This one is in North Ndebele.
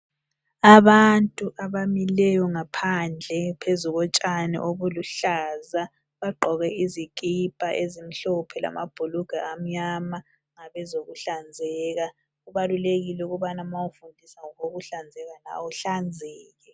Abantu abamileyo ngaphandle phezu kotshani obuluhlaza, bagqoke izikipa ezimhlophe lamabhulugwe amnyama ngabe zokuhlanzeka kubalulekile ukubana ma ufundisa ngokokuhlazeka nawe uhlanzeke.